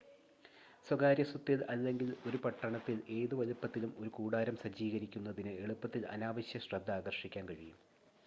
സ്വകാര്യ സ്വത്തിൽ അല്ലെങ്കിൽ ഒരു പട്ടണത്തിൽ ഏത് വലുപ്പത്തിലും ഒരു കൂടാരം സജ്ജീകരിക്കുന്നത് എളുപ്പത്തിൽ അനാവശ്യ ശ്രദ്ധ ആകർഷിക്കാൻ കഴിയും